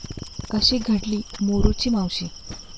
अशी घडली 'मोरूची मावशी'